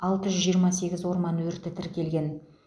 алты жүз жиырма сегіз орман өрті тіркеген